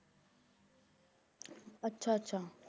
ਆਚਾ ਆਚਾ